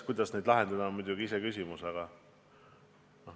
Kuidas neid lahendada, on iseküsimus.